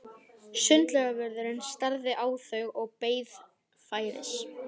Sundlaugarvörðurinn starði á þau og beið færis.